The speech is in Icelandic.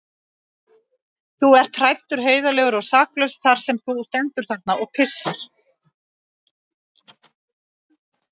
Þú ert hræddur, heiðarlegur og saklaus þar sem þú stendur þarna og pissar.